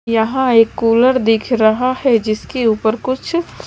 यहां एक कुलर दिख रहा है जिसके ऊपर कुछ--